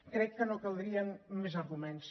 crec que no caldrien més arguments